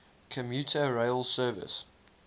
commuter rail service